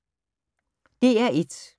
DR1